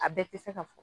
A bɛɛ tɛ se ka fɔ